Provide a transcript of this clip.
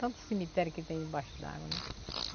Tanto cemitério que tem embaixo d'água, né?